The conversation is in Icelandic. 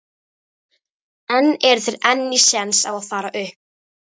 En eru þeir enn í séns á að fara upp?